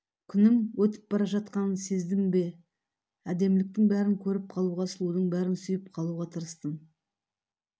күнім өтіп бара жатқанын сездім бе әдеміліктің бәрін көріп қалуға сұлудың бәрін сүйіп қалуға тырыстым